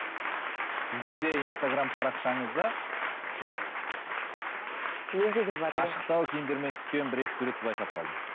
сіздің де инстаграмм парақшаңызда менде де бар ашықтау киімдермен түскен бір екі суретті байқап қалдым